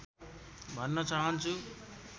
भन्न चाहन्छु